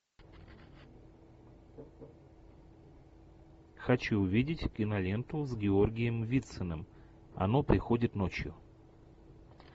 хочу увидеть киноленту с георгием вициным оно приходит ночью